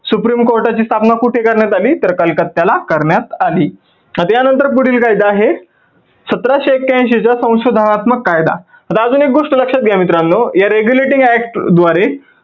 supreme कोर्टाची स्थापना कुठ करण्यात आली तर कलकत्त्याला करण्यात आली. आता या नंतर पुढील कायदा आहे सतराशे एक्क्यांऐंशी चा संशोधनात्मक कायदा अजून एक गोष्ट लक्षात घ्या मित्रांनो या regulating act द्वारे